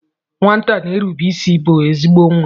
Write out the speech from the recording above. Nwata na-erube isi bụ ezigbo nwa.